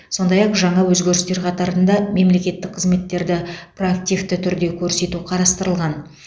сондай ақ жаңа өзгерістер қатарында мемлекеттік қызметтерді проактивті түрде көрсету қарастырылған